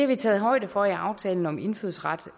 vi taget højde for i aftalen om indfødsret